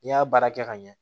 N'i y'a baara kɛ ka ɲɛ